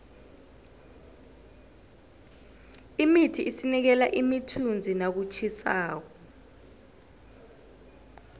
imithi isinikela imithunzi nakutjhisako